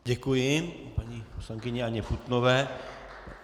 Děkuji paní poslankyni Anně Putnové.